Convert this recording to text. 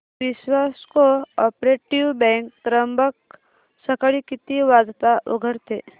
विश्वास cooperative bank Trimbak सकाळी किती वाजता उघडते